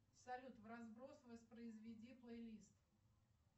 салют вразброс воспроизведи плейлист